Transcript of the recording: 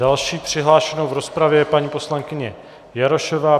Další přihlášenou v rozpravě je paní poslankyně Jarošová.